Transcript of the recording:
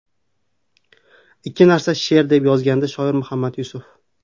Ikki misra she’r...”, deb yozgandi shoir Muhammad Yusuf.